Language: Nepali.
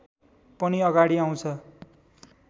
पनि अगाडि आउँछ